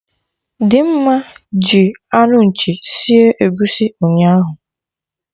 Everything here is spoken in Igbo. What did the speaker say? Dimma ji anụ nchi sie egusi ụnyaahụ